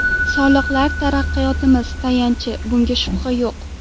Soliqlar taraqqiyotimiz tayanchi, bunga shubha yo‘q.